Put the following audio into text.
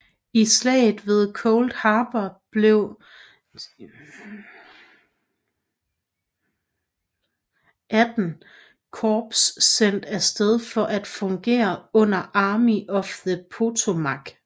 I Slaget ved Cold Harbor blev XVIII Korps sendt af sted for at fungere under Army of the Potomac